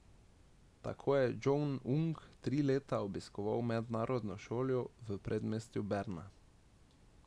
Tako je Džong Un tri leta obiskoval mednarodno šolo v predmestju Berna.